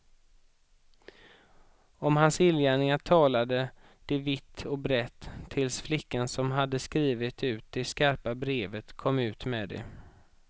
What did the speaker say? Om hans illgärningar talade de vitt och brett, tills flickan som hade skrivit ut det skarpa brevet kom ut med det.